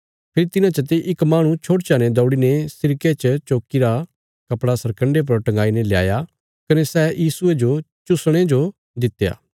फेरी तिन्हां चते इक माहणु छोड़चा ने दौड़ीने सिरके च चोक्कीरा कपड़ा सरकन्डे पर टंगाईने ल्याया कने सै यीशुये जो चुसणे जो दित्या